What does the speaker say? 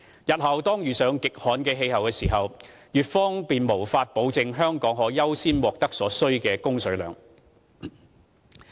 日後當遇上極旱的氣候時，粵方便無法保證香港可優先獲得所需的供水量。